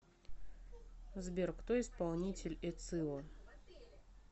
сбер кто исполнитель эцио